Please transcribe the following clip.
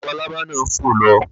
Labalábá náà fò lọ